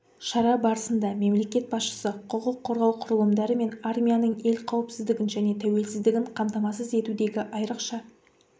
шара барысында мемлекет басшысы құқық қорғау құрылымдары мен армияның ел қауіпсіздігін және тәуелсіздігін қамтамасыз етудегі айрықша